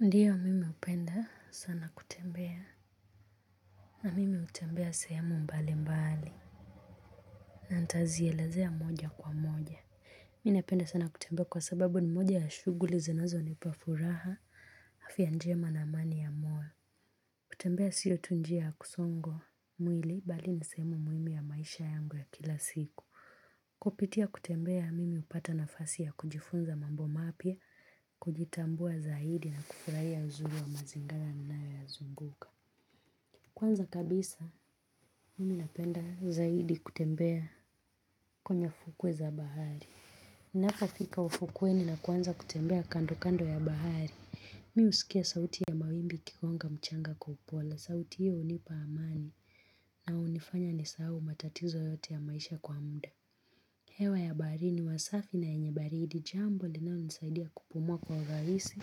Ndiyo mimi upenda sana kutembea na mimi utembea sehemu mbali mbali na ntazielezea moja kwa moja mina penda sana kutembea kwa sababu ni moja ya shuguli zinazo nipafuraha afya njema na amani ya moyo kutembea sio tu njia kusongwa mwili bali nisehemu muhimu ya maisha yangu ya kila siku kupitia kutembea mimi upata nafasi ya kujifunza mambo mapya kujitambua zaidi na kufurahi ya uzuri wa mazingana na nayo ya zunguka Kwanza kabisa, mimi napenda zaidi kutembea kwenye fukwe za bahari Ninapofika ufukweni na kuanza kutembea kando kando ya bahari Mi usikia sauti ya mawimbi kikwonga mchanga kwa upole, sauti hiyo unipa amani na unifanya ni sahahu matatizo yote ya maisha kwa mda hewa ya bahari ni wasafi na yenye baridi jambo linalonisaidia kupumua kwa uraisi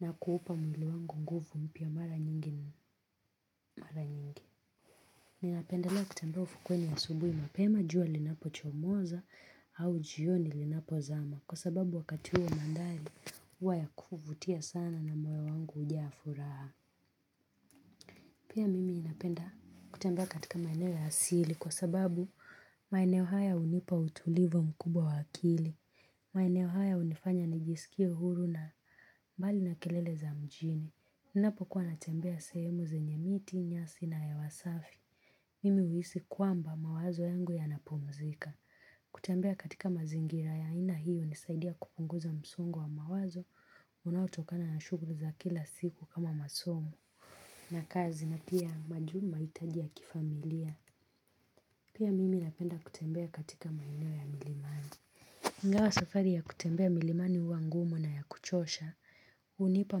na kuupa mwili wangu nguvu mpya mara nyingi ni mara nyingi Ninapendelea kutembea ufukweni a subui mapema jua linapo chomoza au jioni linapo zama kwa sababu wakati huo mandhari uwaya kufutia sana na moyo wangu ujaa afuraha. Pia mimi napenda kutembea katika maeneo ya hasili kwa sababu maeneo haya unipa utulivu mkubwa wa akili. Maeneo haya unifanya nijisikie huru na mbali na kelele za mjini. Ninapo kuwa natembea sehemu zenye miti, nyasi na ya wasafi. Mimi uisi kuamba mawazo yangu ya napumzika. Kutembea katika mazingira ya aina hiyo unisaidia kupunguza msongo wa mawazo. Unaotokana na shuguri za kila siku kama masomo. Nakazi na pia majuma itajia kifamilia. Pia mimi napenda kutembea katika maeneo ya milimani. iNga wa safari ya kutembea milimani uwa ngumu na ya kuchosha. Unipa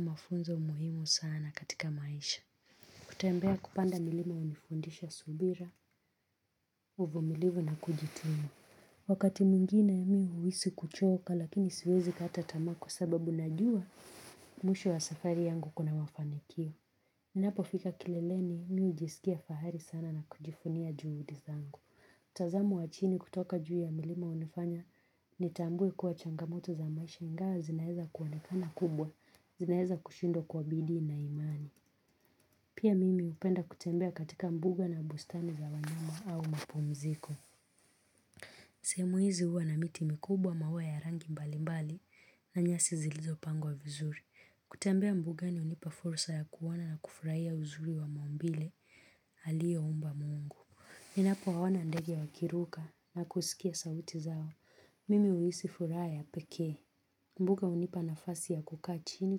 mafunzo muhimu sana katika maisha. Kutembea kupanda milima unifundisha subira. Uvumilivu na kujitimu. Wakati mwingine ya miu huisi kuchoka lakini siwezi kata tamaa kwa sababu najua mwisho wa safari yangu kuna mafanikio. Napo fika kileleni miu ujisikia fahari sana na kujifunia juudizangu. Tazamu wachini kutoka juu ya milima unifanya ni tambue kuwa changamoto za maisha ingawa zinaeza kuonekana kubwa, zinaeza kushindwa kwa bidii na imani. Pia mimi upenda kutembea katika mbuga na bustani za wanyama au mapumziko. Sehemu hizi uwa na miti mikubwa maua ya rangi mbali mbali na nyasi zilizo pangwa vizuri. Kutembea mbuga ni unipa fursa ya kuona na kufurahia uzuri wa maumbile aliyo umba mungu. Minapo waona ndege ya wakiruka na kusikia sauti zao. Mimi uisi furaha ya pekee. Mbuga unipa na fasi ya kukaa chini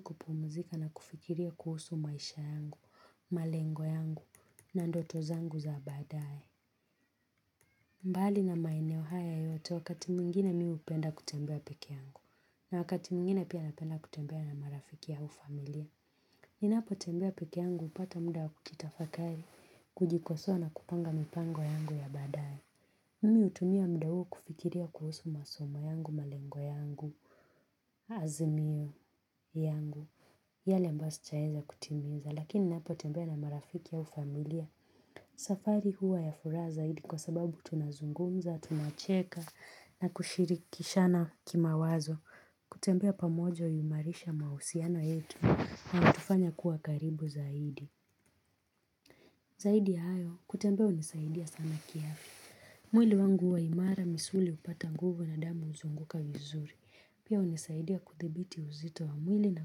kupumuzika na kufikiria kuhusu maisha yangu, malengo yangu na ndoto zangu za baadaye. Mbali na maeneo haya yote wakati mwingine mi upenda kutembea peke yangu. Na wakati mwingine pia napenda kutembea na marafiki au familia. Ni napo tembea peke yangu upata mda wa kukitafakari, kujikosoa kupanga mipango yangu ya baadaye. Mimi hutumia mda huu kufikiria kuhusu masomo yangu, malengo yangu, azimio yangu. Yale ambayo sijaeza kutiminza lakini napo tembea na marafiki au familia. Safari huwa ya furaha zaidi kwa sababu tunazungumza, tunacheka na kushirikishana kima wazo. Kutembea pamoja uimarisha mausiano yetu na utufanya kukuwa karibu zaidi. Zaidi ayo kutembea unisaidia sana kiafya. Mwili wangu huwa imara misuli upata nguvu na damu uzunguka vizuri. Pia unisaidia kuthibiti uzito wa mwili na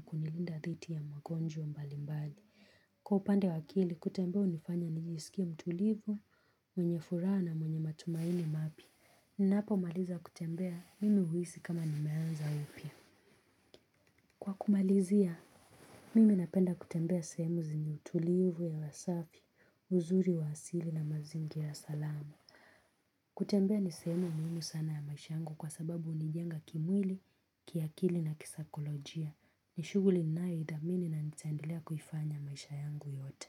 kunilinda dhiti ya magonjwa mbalimbali. Kwa upande wa akili, kutembea unifanya nijisikie mtulivu, mwenye furaha na mwenye matumaini mapya. Ninapo maliza kutembea, mimi huisi kama nimeanza upya. Kwa kumalizia, mimi napenda kutembea sehemu zenye utulivu hewa safi, uzuri wa asili na mazingira salama. Kutembea nisehemu muhimu sana ya maisha yangu kwa sababu unijenga kimwili, kiakili na kisakolojia. Nishuguli ninayoitamani na nitaendelea kuifanya maisha yangu yote.